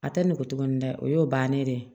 A tɛ nugu ni dɛ o y'o bannen de ye